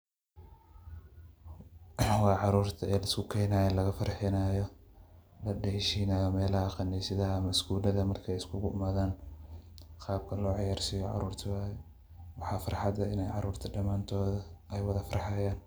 Waa caruurta oo luskukeenayo oo laga farhinaayo ladeeshinaayo meelaha khaniisadaha ama iskuulada marka ay iskugu yimaadaan. Qaabka loo ciyarsiiyo caruurta waay. Waxaa farxad leh inaa caruurta damaantooda wada farhayan.